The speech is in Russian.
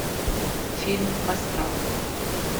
фильм астрал